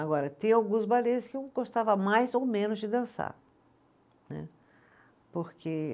Agora, tem alguns balês que eu gostava mais ou menos de dançar, né, porque